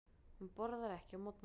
Hún borðar ekki á morgnana.